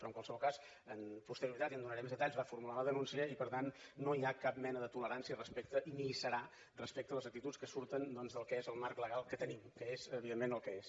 però en qualsevol cas amb posterioritat i en donaré més detalls va formular la denúncia i per tant no hi ha cap mena de tolerància ni hi serà respecte a les actituds que surten del marc legal que tenim que és evidentment el que és